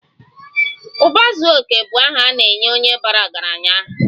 Uba zuo oke bu aha ana-enye onye bara ọgaranya aha.